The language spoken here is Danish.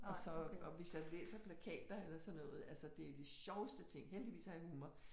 Og så og hvis jeg læser plakater eller sådan noget altså det de sjoveste ting heldigvis har jeg humor